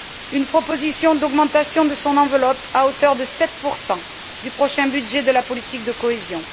Une proposition d'augmentation de son enveloppe à hauteur de 7 du prochain budget de la politique de cohésion.